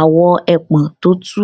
awọ ẹpọn tó tú